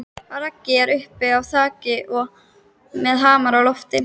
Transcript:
Raggi er uppi á þaki með hamar á lofti.